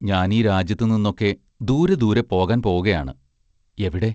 ഞാൻ ഈ രാജ്യത്തു നിന്നൊക്കെ ദൂരെ ദൂരെ പോകാൻ പോകയാണ് എവിടെ?